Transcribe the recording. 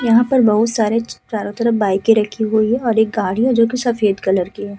यहाँ पर बहोत सारे चारों तरफ बाइकें रखी हुई हैं और एक गाड़ी है जोकि सफेद कलर की है।